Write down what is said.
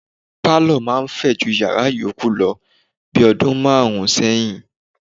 Pálọ̀ máa ń fẹ ju yàrá yòókù lọ bi ọdún márùn-ún sẹ́yìn.